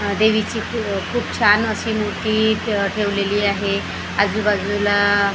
देवीची खूप छान अशी मूर्ती ठेवलेली आहे आजूबाजूला --